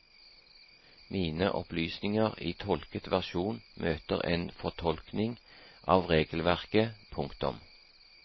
Mine opplysninger i tolket versjon møter en fortolkning av regelverket. punktum